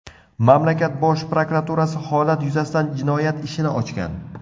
Mamlakat bosh prokuraturasi holat yuzasidan jinoyat ishini ochgan.